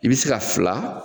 I bi se ka fila